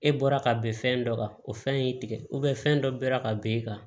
E bɔra ka bin fɛn dɔ kan o fɛn y'i tigɛ fɛn dɔ bɔra ka ben e kan